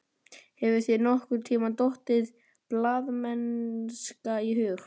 Hefur þér nokkurntíma dottið blaðamennska í hug?